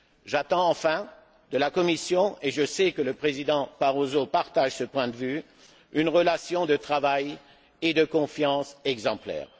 J'attends enfin de la Commission et je sais que le président Barroso partage ce point de vue une relation de travail et de confiance exemplaire.